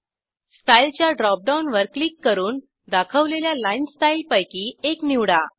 style च्या drop डाऊनवर click करून दाखवलेल्या लाईनस्टाईलपैकी एक निवडा